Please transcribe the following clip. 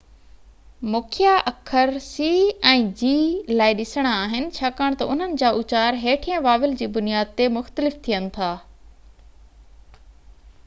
مکيہ اکر c ۽ g لاءِ ڏسڻا آهن ڇاڪاڻ تہ انهن جا اُچار هيٺين واويل جي بنياد تي مختلف ٿين ٿا